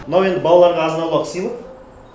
мынау енді балаларға азын аулақ сыйлық